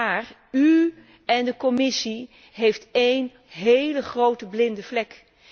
Maar u en de Commissie hebben één hele grote blinde vlek.